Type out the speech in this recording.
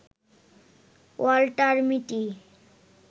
Walter মিটি